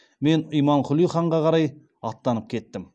мен имамқұли ханға қарай аттанып кеттім